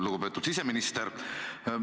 Lugupeetud siseminister!